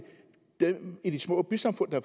dem i de små bysamfund der